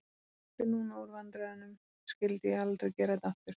Ef ég slyppi núna úr vandræðunum, skyldi ég aldrei gera þetta aftur.